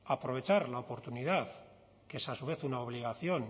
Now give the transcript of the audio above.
aprovechar la oportunidad que es a su vez una obligación